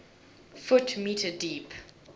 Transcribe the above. ft m deep